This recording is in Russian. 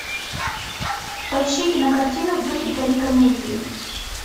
поищи кинокартину в духе трагикомедии